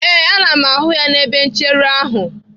Ee, ana m ahụ ya n'ebe nchere ahụ.